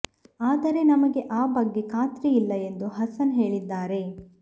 ಆದರೆ ನಮಗೆ ಆ ಬಗ್ಗೆ ಖಾತ್ರಿ ಇಲ್ಲ ಎಂದು ಹಸನ್ ಹೇಳಿದ್ದಾರೆ